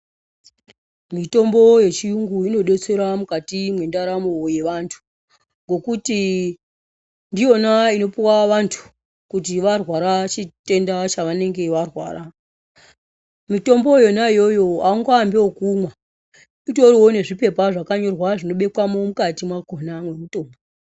Mitombo yechiyungu inodetsera mukati mwendaramo yevantu ngekuti ndiyona inopuwa antu kuti varwara chitenda chavanenge varwara mitombo yona iyoyo aungoambi ekumwa mutoriwo nezvipepa zvakanyorwa zvinobekwa mukati mwakhona mwemutombo.